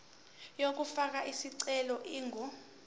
yokufaka isicelo ingu